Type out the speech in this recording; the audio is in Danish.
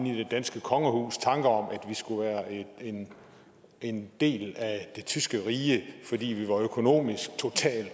i det danske kongehus tanker om at vi skulle være en en del af det tyske rige fordi vi var økonomisk totalt